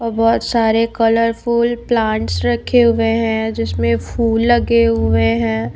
और बहुत सारे कलरफुल प्लांट्स रखे हुए है जिसमे फूल लगे हुए है।